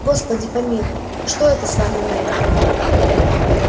господи помилуй что это с вами мелли